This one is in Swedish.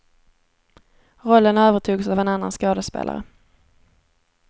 Rollen övertogs av en annan skådespelare.